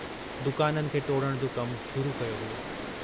दुकाननि खे टोड़ण जो कमु शुरू कयो वियो।